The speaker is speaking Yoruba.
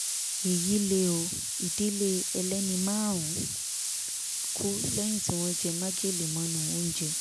èyí lé o ìdílé ẹlẹ́ni márùn-ún kù lẹ́yìn tí wọ́n jẹ́ májèlé mọ́nú oúnjẹ